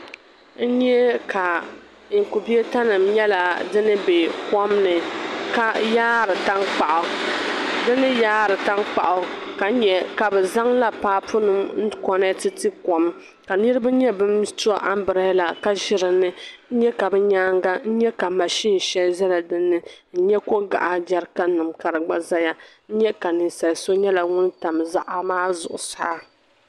N nye ka. nkubeeta nim nyala dim bɛ kom ni. n. yaari. tankpaɣu. dini. yaari tankpaɣu. ka nya. kabi zaŋla. paa punima. nkonet. nti. kom. kanirib. nye. ban tɔ. ambilela ka zi dini, n. nyɛ. kabi. nyaaŋa, n. nyɛ ka mazin. shɛli. zɛla dini n. nyɛ kogaɣa. jarikannima. ka di gba zɛya. n nyɛ. ka ninsali so nyala ŋun. tam. zoya maa. zuɣu. saa.